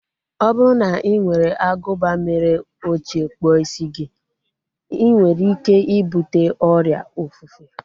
Ọ bụrụ na ị were agụba mere ochie kpụọ isi gị, inwere ike ibute ọrịa ofufe